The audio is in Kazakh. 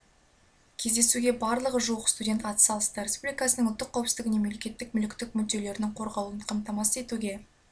кездесуге барлығы жуық студент ат салысты республикасының ұлттық қауіпсіздігіне мемлекеттік мүліктік мүдделерінің қорғалуын қамтамасыз етуге